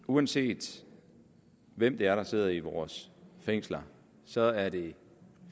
uanset hvem det er der sidder i vores fængsler så er det